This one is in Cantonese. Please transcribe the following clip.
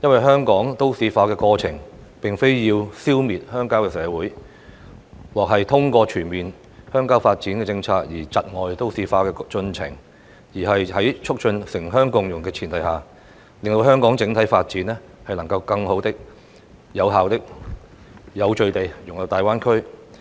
香港都市化的過程，並非要消滅鄉郊社會，而制訂全面鄉郊發展政策，亦非為窒礙都市化的進程，而是要在促進城鄉共融的前提下，讓香港整體發展能更好、有效及有序地融入大灣區。